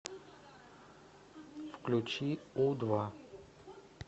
включи у два